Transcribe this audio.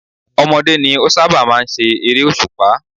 Ọmọdé ní ó sábà máa ń ṣe eré òṣùpá.